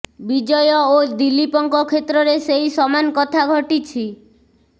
ବିଜୟ ଓ ଦିଲ୍ଲୀପଙ୍କ କ୍ଷେତ୍ରରେ ସେଇ ସମାନ କଥା ଘଟିଛି